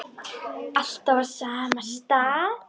Alltaf á sama stað.